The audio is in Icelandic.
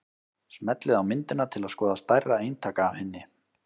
Smellið á myndina til að skoða stærra eintak af henni.